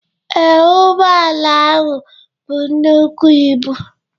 Ee, ụgbọala ahụ bu nnukwu ibu.